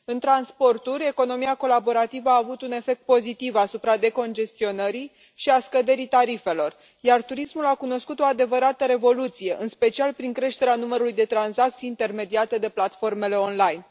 În transporturi, economia colaborativă a avut un efect pozitiv asupra decongestionării și a scăderii tarifelor, iar turismul a cunoscut o adevărată revoluție, în special prin creșterea numărului de tranzacții intermediate de platformele online.